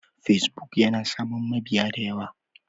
Facebook yana samun mabiya da yawa.